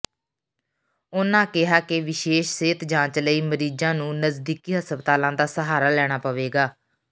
ਉਨਾਂ ਕਿਹਾ ਕਿ ਵਿਸ਼ੇਸ਼ ਸਿਹਤ ਜਾਂਚ ਲਈ ਮਰੀਜਾਂ ਨੂੰ ਨਜਦੀਕੀ ਹਸਪਤਾਲਾਂ ਦਾ ਸਹਾਰਾ ਲੈਣਾ ਪਵੇਗਾ